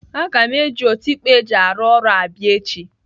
Aga m eji otikpo eji arụ ọrụ abịa echi.